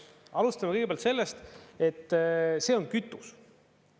Alustame kõigepealt sellest, et see on kütus.